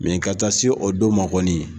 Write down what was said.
Mɛ ka taa se o don kɔni